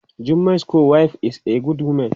Jummai's co- wife is a good woman.